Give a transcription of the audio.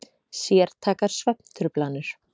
Sértækar svefntruflanir.